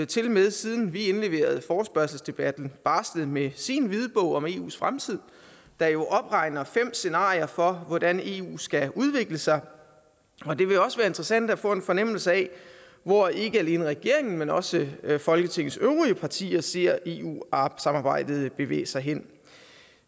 tilmed siden vi indleverede forespørgselsdebatten barslet med sin hvidbog om eus fremtid der jo opregner fem scenarier for hvordan eu skal udvikle sig og det vil også være interessant at få en fornemmelse af hvor ikke alene regeringen men også folketingets øvrige partier ser eu samarbejdet bevæge sig hen